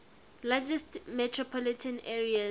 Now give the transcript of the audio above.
largest metropolitan areas